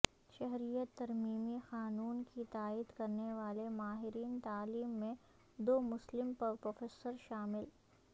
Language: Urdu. شہریت ترمیمی قانون کی تائید کرنے والے ماہرین تعلیم میں دو مسلم پروفیسر شامل